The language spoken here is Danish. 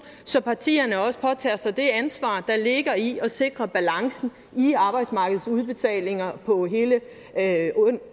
så partierne også påtager sig det ansvar der ligger i at sikre balancen i arbejdsmarkedets udbetalinger på hele